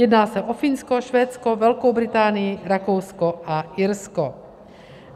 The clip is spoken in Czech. Jedná se o Finsko, Švédsko, Velkou Británii, Rakousko a Irsko.